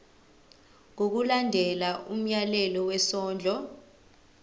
ngokulandela umyalelo wesondlo